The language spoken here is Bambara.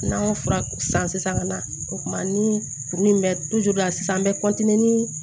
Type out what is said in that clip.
N'an y'o fura san sisan ka na o kumana ni kurun in bɛ sisan an bɛ